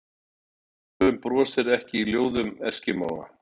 Og sólin brosir ekki í ljóðum eskimóa